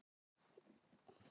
En bráðum komum við heim.